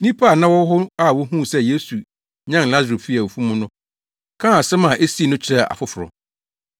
Nnipa a na wɔwɔ hɔ a wohuu sɛ Yesu nyan Lasaro fii awufo mu no kaa asɛm a esii no kyerɛɛ afoforo.